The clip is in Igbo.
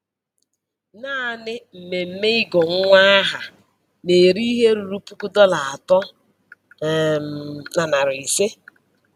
Naanị mmemme ịgụ nwa aha na-eri ihe ruru puku dọla atọ um na narị ise